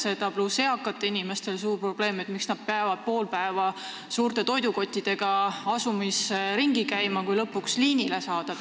Peale selle on eakatel inimestel suur probleem: miks nad peavad pool päeva suurte toidukottidega asumis ringi käima, enne kui lõpuks bussi peale saavad?